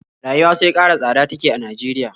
Rayuwa sai ƙara tsada take a Najeriya